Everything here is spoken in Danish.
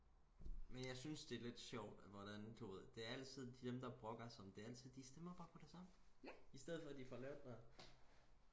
men jeg synes det er lidt sjovt hvordan du ved det er altid dem der brokker sig det er altid de stemmer bare på det samme istedet for at de få lavet noget